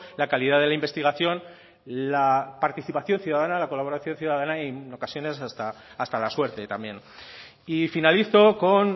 la calidad de la investigación la participación ciudadana la colaboración ciudadana y en ocasiones hasta la suerte también y finalizo con